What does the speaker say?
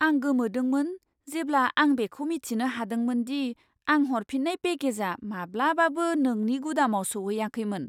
आं गोमोदोंमोन जेब्ला आं बेखौ मिथिनो हादोंमोन दि आं हरफिन्नाय पेकेजआ माब्लाबाबो नोंनि गुदामाव सौहैयाखैमोन!